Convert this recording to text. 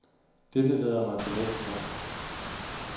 Dette leder mig til næste punkt.